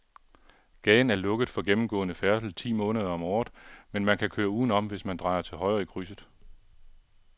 Gaden er lukket for gennemgående færdsel ti måneder om året, men man kan køre udenom, hvis man drejer til højre i krydset.